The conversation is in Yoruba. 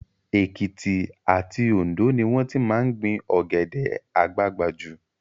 Èkìtì àti Òndó ni wọ́n ti máa ń gbin Ọ̀gẹ̀dẹ̀ àgbagbà jù